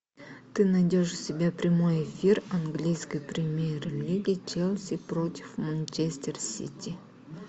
ты найдешь себе прямой эфир английской премьер лиги челси против манчестер сити